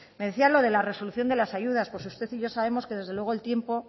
me decía lo de la resolución de la ayudas pues usted y yo sabemos que desde luego el tiempo